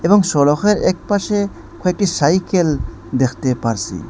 এবং সড়কের একপাশে কয়েকটি সাইকেল দেখতে পারসি।